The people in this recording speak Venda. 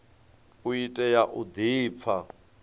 u tea u di pfa